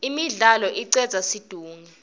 imidlalo icedza situnge